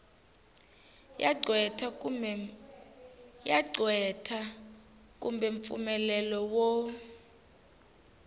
ya qweta kumbe mpfumelelo wo